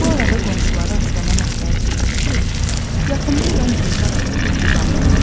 Bu arada qonşuları Aslana məsləhət gördü ki, yaxında olan Gülzar adlı bir qızı alsın.